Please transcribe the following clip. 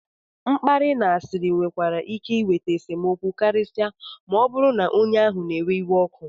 mkparị na asịrị nwekwara ike iweta esemokwu karịsịa ma ọ bụrụ na onye ahụ na-ewe iwe ọkụ